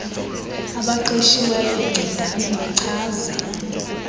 abaqeshiweyo ncedani nichaze